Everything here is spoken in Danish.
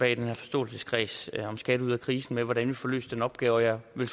i den her forståelseskreds om skat ud af krisen hvordan vi får løst den opgave jeg vil